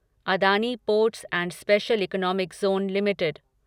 Adani ports and special economic zone limited